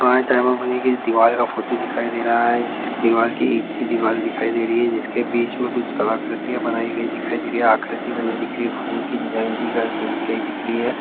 दीवाल का फोटो दिखाई दे रहा है जिसकी दीवाल की ईंट की दीवाल दिखाई दे रही है जिसके बीच में कुछ कलाकीर्तियाँ बनाई गई दिखाई दे रही हैं आकृति बनी दिख रही है फूल की डिजाईन दिख रही है।